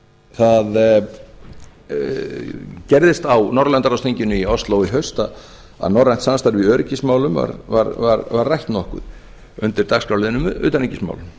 það gerðist á norðurlandaráðsþinginu í ósló í haust að norrænt samstarf í öryggismálum var rætt nokkuð undir dagskrárliðnum utanríkismál